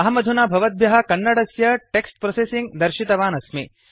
अहमधुना भवद्भ्यःकन्नडस्य text processing दर्शितवान् अस्मि